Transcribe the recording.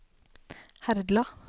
Herdla